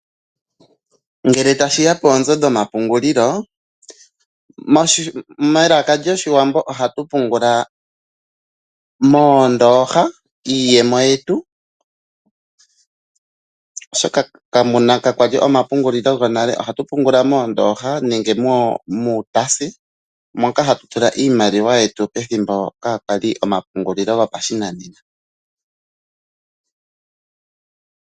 Ngele tashi ya poonzo dhomapungulilo, melaka lyOshiwambo ohatu pungula moondooha iiyemo yetu, oshoka kakwa li omapungulilo gonale, ohatu tula moondooha nenge muutaasi moka hatu tula iimaliwa yetu pethimbo kaa kwali omapungulilo gopashinanena.